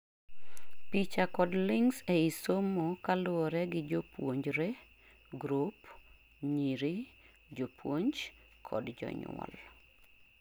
picha kod links ei somo kaluwore gi jopuonjre group ,nyiri , jopuonj kod jonyuol